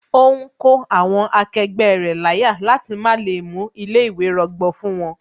Ó ń kó àwọn akẹgbẹ́ rẹ̀ láyà jẹ láti lè má mú ilé ìwé rọgbọ fún wón